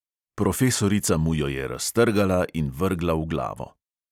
Profesorica mu jo je raztrgala in vrgla v glavo.